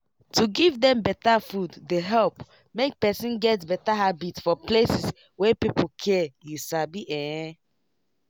to give dem better food dey help make person get better habit for places wey people care you sabi en